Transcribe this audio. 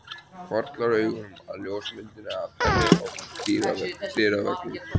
Hvarflar augunum að ljósmyndinni af henni á dyraveggnum.